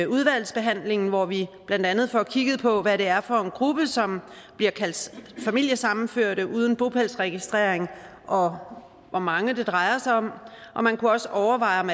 udvalgsbehandlingen hvor vi blandt andet får kigget på hvad det er for en gruppe som bliver kaldt familiesammenførte uden bopælsregistrering og hvor mange det drejer sig om man kunne også overveje om